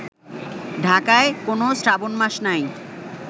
ঢাকায় কোন শ্রাবণ মাস নাই